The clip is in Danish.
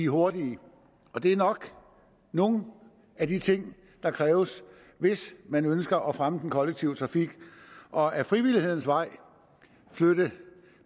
hurtige det er nok nogle af de ting der kræves hvis man ønsker at fremme den kollektive trafik og ad frivillighedens vej flytte